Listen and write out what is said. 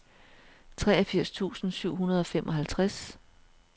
treogfirs tusind syv hundrede og femoghalvtreds